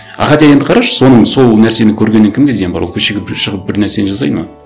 а хотя енді қарашы соның сол нәрсені көргеннен кімге зиян бар ол көшеге бір шығып бір нәрсені жасайды ма